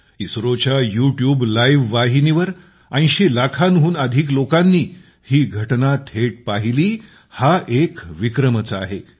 इस्रोच्या YouTube live वाहिनीवर 80 लाखांहून अधिक लोकांनी ही घटना थेट पाहिली हा एक विक्रमच आहे